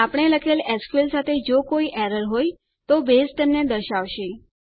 આપણે લખેલ એસક્યુએલ સાથે જો કોઈ એરર હોય તો બેઝ તેમને દર્શાવશે